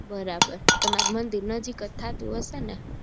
બરાબર તમારે મંદિર નજીક જ થતું હશે ને